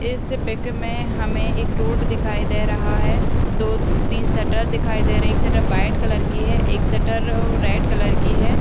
इस पिक मे हमे एक रोड दिखाई दे रहा है दो तीन शटर दिखाई दे रहे है एक शटर व्हाइट कलर की है एक शटर रेड कलर की है।